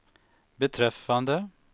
beträffande